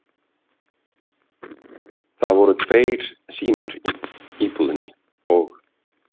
Það voru tveir símar í íbúðinni og